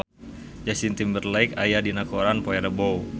Justin Timberlake aya dina koran poe Rebo